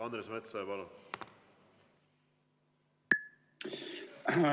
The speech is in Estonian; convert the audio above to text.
Andres Metsoja, palun!